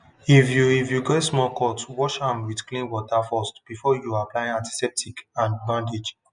if you if you get small cut wash am with clean water first before you apply antiseptic and bandage